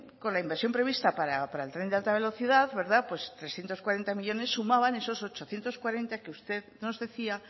con la inversión prevista para el tren de alta velocidad pues trescientos cuarenta millónes sumaban esos ochocientos cuarenta que usted nos decía